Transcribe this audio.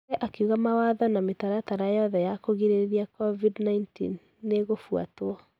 Chege akĩuga mawatho na mitaratara yothe ya kugrĩrĩria covid-19 nĩ ĩkũfutwo.